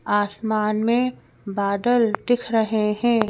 आसमान में बादल दिख रहे हैं।